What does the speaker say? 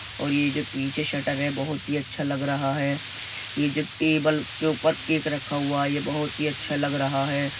और ये जो पीछे शटर है बहोत ही अच्छा लग रहा हैं| ये जो टेबल के ऊपर केक रखा हुआ है| ये बहोत ही अच्छा लग रहा हैं।